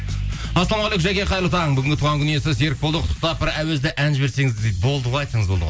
ассалаумағалейкум жаке қайырлы таң бүгінгі туған күн иесі серікболды құттықтап бір әуезді ән жіберсеңіз дейді болды ғой айтсаңыз болды ғой